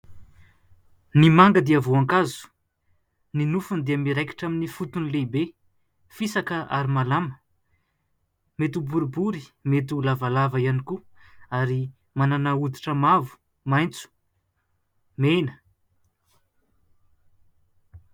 Ny manga dia voankazo ny nofony dia miraikitra amin'ny fotony lehibe fisaka ary malama, mety ho boribory mety ho lavalava ihany koa ary manana oditra mavo, maintso, mena.